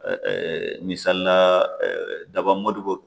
misalila Daba Modibo